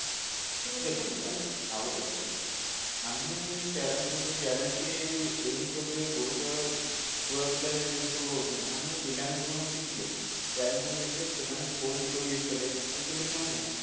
ଦେଖନ୍ତୁ madam ଆଉ ଗୋଟେ କଥା ବି ଆମେ parents ଙ୍କୁ ଯୋଉ କହୁଛେ parents ବି ଏଇ ଏଇ ଜିନିଷ ଉପରେ ଗୁରୁତ୍ୟ ଛୁଆ ପିଲା ଯୋଉ ରହୁଛନ୍ତି ଆମେ ପିଲାଙ୍କଠୁ କଣ ଶିଖିଲେ parents ମାନେ ଏଠି ସେମାନେ phone ଯେତେବେଳେ use କଲେ ଆଜିକାଲି କଣ ହେଲା